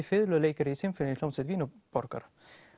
fiðluleikari í sinfóníuhljómsveit Vínarborgar